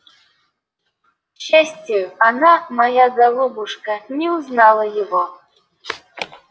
к счастию она моя голубушка не узнала его